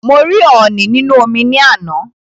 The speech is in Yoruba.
Mo rí ọ̀ọ̀nì nínú omi ní àná